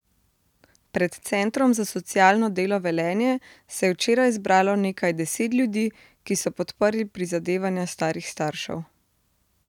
Pred Centrom za socialno delo Velenje se je včeraj zbralo nekaj deset ljudi, ki so podprli prizadevanja starih staršev.